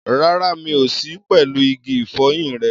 Rárá, mi ò sí pẹ̀lú igi ìfọyín rẹ.